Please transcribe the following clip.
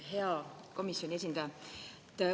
Hea komisjoni esindaja!